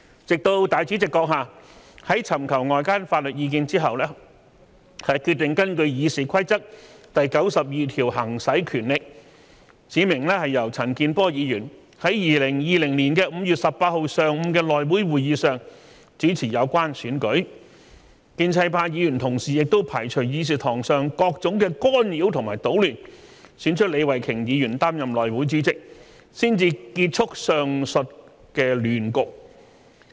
直到立法會主席閣下在尋求外間法律意見之後，決定根據《議事規則》第92條行使權力，指明由陳健波議員在2020年5月18日上午的內會會議上主持有關選舉，建制派議員亦排除議事堂上各種干擾和搗亂，選出李慧琼議員擔任內會主席，才結束上述亂局。